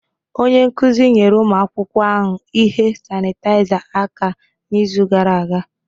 Onye nkuzi nyere ụmụ akwụkwọ ahụ ihe sanitaiza aka n'izu gara aga.